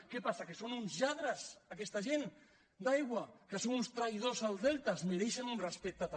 què passa que són uns lladres aquesta gent d’aigua que són uns traïdors al delta es mereixen un respecte també